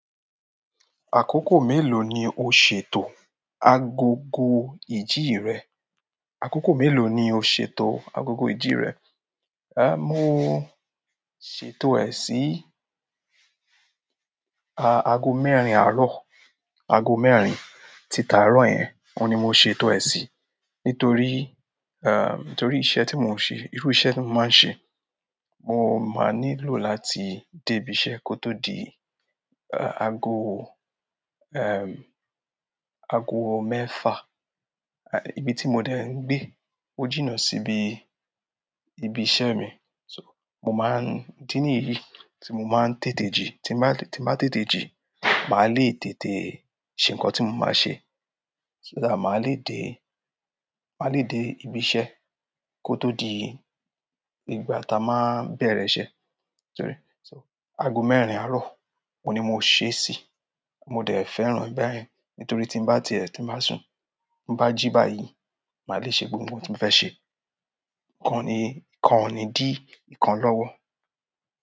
Àkókò mélòó ni o ṣètò agogo ìjì rẹ? Àkókò mélòó ni o ṣètò agogo ìjì rẹ? Eh, mo ṣètò ẹ sí, a, ago mẹ́rin àárọ̀, ago mẹ́rin tí tàárọ̀ yẹn, òun ni mo ṣètò ẹ sí. Nítorí, eh, nítorí iṣẹ́ tí mo ń ṣe, irú iṣẹ́ tí mo máa ń ṣe, mo máa nílò láti dé ibi iṣẹ́ kó tó di, e, ago, ẹm, ago mẹ́ẹ̀fa. Ibi tí mo dẹ ń gbé ó jìnnà síbi ibi iṣẹ́ mi. So, mo máa ń idí níyí tí mo máa ń tètè jí, tí máa tí màá tètè jí, màá le tètè ṣe nǹkan tí mo máa ṣe. So that máa lé dé ibí iṣẹ́ kó tó di ìgbà ta máa n bẹrẹ iṣẹ́ so rí. So ago mẹ́rin àárọ̀, òun ni mo ṣè sí. Mo dẹ fẹ́ràn báyẹn nítorí tí bá ti ẹ̀, tí màá sùn, bá jí báyìí, màá le ṣe gbogbo ohun tí mo fẹ́ ṣe. Ikan o ni ìkan ò ní di ìkan lọ́wọ́.